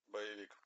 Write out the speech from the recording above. боевик